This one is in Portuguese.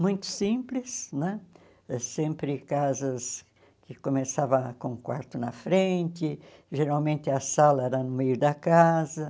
Muito simples né, sempre casas que começavam com um quarto na frente, geralmente a sala era no meio da casa.